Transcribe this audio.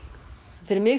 fyrir mig